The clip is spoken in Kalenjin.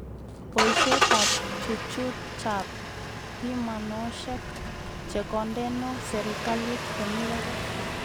Boishetab chuchuchab pimanoshek chekondeno serikalit komi barak